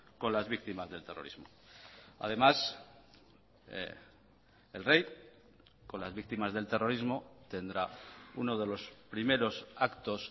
con las víctimas del terrorismo además el rey con las víctimas del terrorismo tendrá uno de los primeros actos